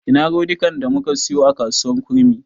Ina rodikan da muka siyo a kasuwar kurmi?